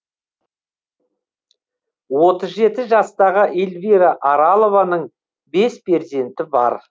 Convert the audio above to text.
отыз жеті жастағы эльвира аралованың бес перзенті бар